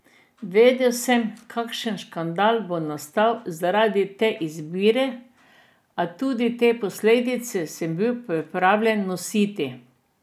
Vedel sem, kakšen škandal bo nastal zaradi te izbire, a tudi te posledice sem bil pripravljen nositi.